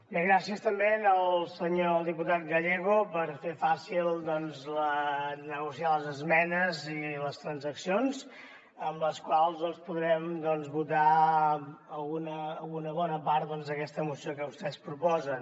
bé gràcies també al senyor diputat gallego per fer fàcil negociar les esmenes i les transaccions amb les quals podrem votar alguna o una bona part d’aquesta moció que vostès proposen